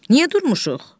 Niyə durmuşuq?